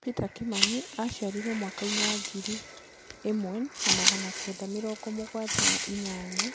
Peter Kimani aciarirwo mwaka-inĩ wa ngiri ĩmwe na magana kenda mĩrongo mũgwanja na inyanya